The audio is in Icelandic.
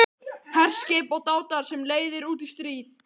HERSKIP OG DÁTAR SEM LEIÐIR ÚT Í STRÍÐ